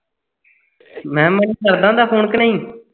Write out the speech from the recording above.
ਮੈਂ ਖਿਆ ਮਣੀ ਕਰਦਾ ਹੁੰਦਾ phone ਕੇ ਨਹੀਂ